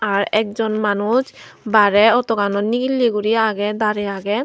ar ek jon manuj bare auto ganot nigille guri aage dare aage.